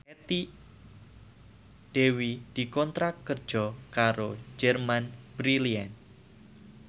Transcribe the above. Dewi dikontrak kerja karo Germany Brilliant